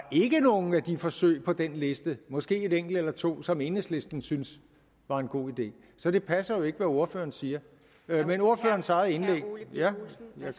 nogen af de forsøg på den liste måske et enkelt eller to som enhedslisten syntes var en god idé så det passer jo ikke hvad ordføreren siger men ordførerens eget indlæg jeg